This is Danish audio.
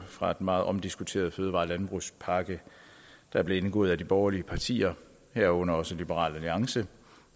fra den meget omdiskuterede fødevare og landbrugspakke der blev indgået af de borgerlige partier herunder også liberal alliance